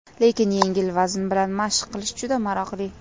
Lekin yengil vazn bilan mashq qilish juda maroqli.